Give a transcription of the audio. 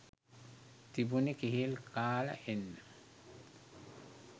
තිබුනෙ කෙහෙල් කාල එන්න.